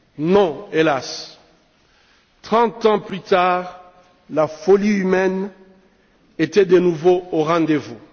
Non, hélas, trente ans plus tard, la folie humaine était de nouveau au rendez vous.